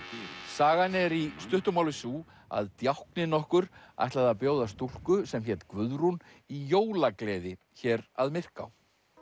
sagan er í stuttu máli sú að djákni nokkur ætlaði að bjóða stúlku sem hét Guðrún í jólagleði hér að Myrká